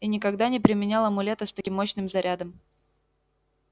и никогда не применял амулета с таким мощным зарядом